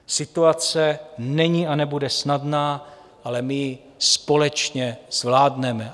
Situace není a nebude snadná, ale my ji společně zvládneme.